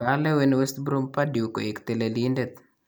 Kalewen West Brom Pardew koeek telelindet